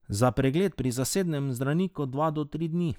Za pregled pri zasebnem zdravniku dva do tri dni.